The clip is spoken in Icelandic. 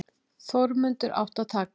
Þórmundur átti að taka